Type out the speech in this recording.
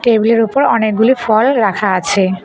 Table -এর ওপর অনেকগুলি ফল রাখা আছে।